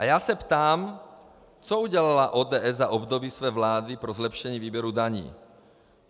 A já se ptám: co udělala ODS za období své vlády pro zlepšení výběru daní?